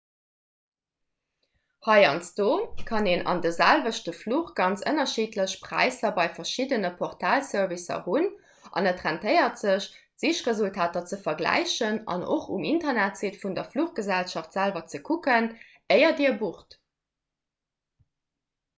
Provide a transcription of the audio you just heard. heiansdo kann een an de selwechte fluch ganz ënnerschiddlech präisser bei verschiddene portalservicer hunn an et rentéiert sech d'sichresultater ze vergläichen an och um internetsite vun der fluchgesellschaft selwer ze kucken éier dir bucht